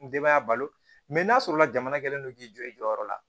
N denbaya balo n'a sɔrɔla jamana kɛlen don k'i jɔ i jɔyɔrɔ la